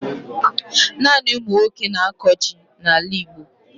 Naanị umunwoke na-ako jị na ala igbo